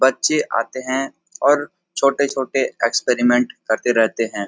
बच्चे आते हैं और छोटे -छोटे एक्सपेरिमेंट करते रहते है।